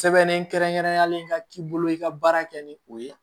Sɛbɛn kɛrɛnkɛrɛnnenyalen ka k'i bolo i ka baara kɛ ni o ye